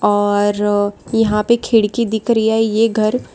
और यहां पे खिड़की दिख रही है ये घर--